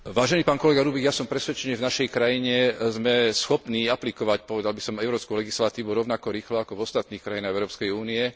Vážený pán kolega Rübig, ja som presvedčený, že v našej krajine sme schopní aplikovať, povedal by som, európsku legislatívu rovnako rýchlo ako v ostatných krajinách Európskej únie.